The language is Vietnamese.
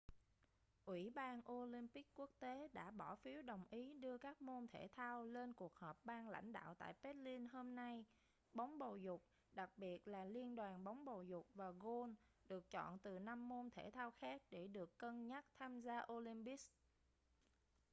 ủy ban olympic quốc tế đã bỏ phiếu đồng ý đưa các môn thể thao lên cuộc họp ban lãnh đạo tại berlin hôm nay bóng bầu dục đặc biệt là liên đoàn bóng bầu dục và gôn được chọn từ năm môn thể thao khác để được cân nhắc tham gia olympics